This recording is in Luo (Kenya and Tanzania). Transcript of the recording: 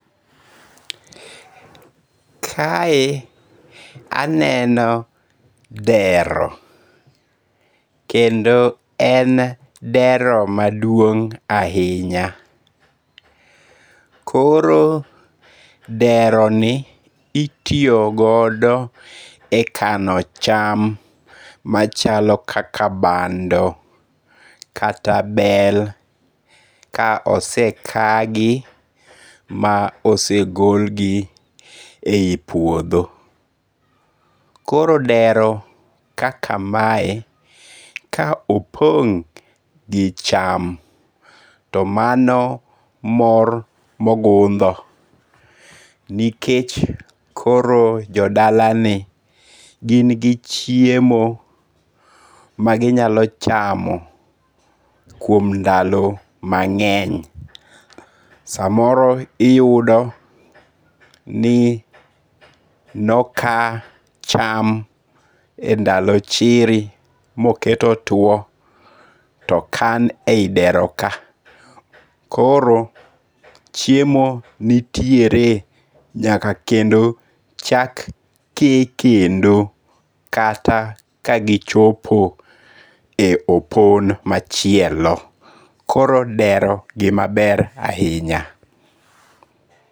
Kae aneno dero. Kendo en dero maduong' ahinya. Koro dero ni itiyoogodo e kano cham machalo kaka bando kata bel ka ose kagi ma ose golgi e yi puodho. Koro dero kaka mae, ka opong' gi cham to mano mor mogundho nikech koro jodala ni gin gi chiemo ma ginyalo chamo kuom ndalo mang'eny. Samoro iyudo ni no ka cham e ndalo chiri mokete otuo to okan e yi dero ka. Koro chiemo nitiere nyaka kendo chak ke kendo kata kagichopo e opon machielo. Koro dero gima ber ahinya.